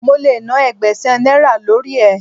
Mo lè nán Ẹgbẹ̀sán náírà lórí ẹ.